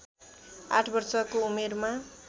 आठ वर्षको उमेरमा